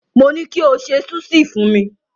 Mo ní kí o ṣe súṣì fún mi.